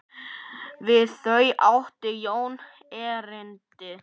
Við þau átti Jón erindi.